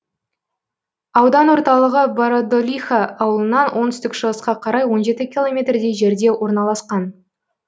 аудан орталығы бородулиха ауылынан оңтүстік шығысқа қарай он жеті километрдей жерде орналасқан